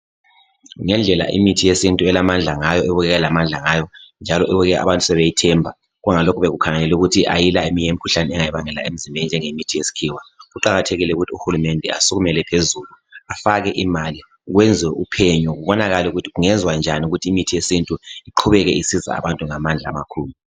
Ngendlela imithi yesintu elamandla ngayo ebukeka ilamandla ngayo njalo abantu sebeyithemba lapho sekukhangelwe ukuthi ayila eminye imikhuhlane engayibangela emzimbeni. kuqakathekile ukuthi uhulumende asukumele phezulu afake imali kwenziwe uphenyo kubonakale ukuthi kungenziwa njani ukuthi imithi yesintu iqhubeke isiza abantu ngamandla amakhulu.